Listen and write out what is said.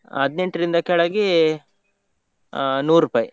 ಹದ್ನೆಂಟ್ರಿಂದ ಕೆಳಗೆ ಆ ನುರೂಪಾಯಿ.